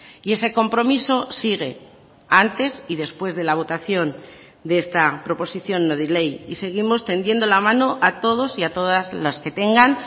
y ese compromiso sigue antes y después de la votación de esta proposición no de ley y seguimos tendiendo la mano a todos y a todas las que tengan